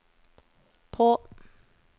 på